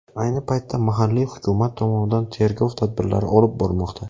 Ayni paytda mahalliy hukumat tomonidan tergov tadbirlari olib borilmoqda.